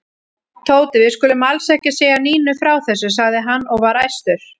Tóti, við skulum alls ekki segja Nínu frá þessu sagði hann og var æstur.